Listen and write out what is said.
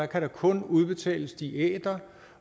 kan der kun udbetales diæter